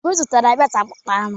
Obi zụtara beltụ akpụkpọ anụ.